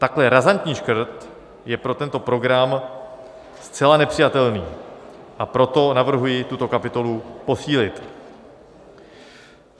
Takhle razantní škrt je pro tento program zcela nepřijatelný, a proto navrhuji tuto kapitolu posílit.